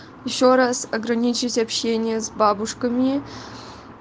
ещё раз ограничить общение с бабушками